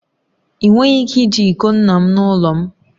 Ị nweghị ike iji iko nna m n'ụlọ m